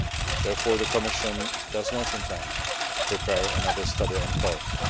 Therefore, the Commission does not intend to prepare another study on costs.